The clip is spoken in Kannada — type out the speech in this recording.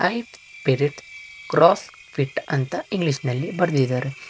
ಹೈಟ್ ಪಿರಿಟ್ ಕ್ರಾಸ್ ಪಿಟ್ ಅಂತ ಇಂಗ್ಲೀಷಿನಲ್ಲಿ ಬರ್ದಿದಾರೆ.